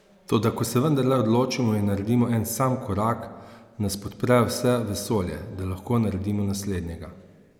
Toda ko se vendarle odločimo in naredimo en sam korak, nas podpre vse vesolje, da lahko naredimo naslednjega.